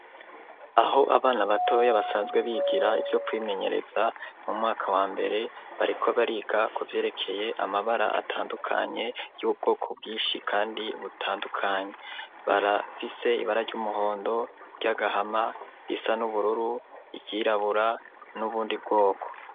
Aho abana batoye basanzwe bigira ibyo kwimenyereza mu mwaka wa mbere bariko bariga kuvyerekeye amabara atandukanye y'ubwoko bwishi kandi butandukanye barafise ibara ry'umuhondo ry'agahama isa n'ubururu iryirabura n'ubundi bwoko.